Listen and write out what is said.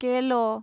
केल'